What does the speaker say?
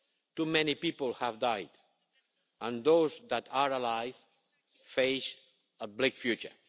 Too many people have died and those that are alive face a bleak future.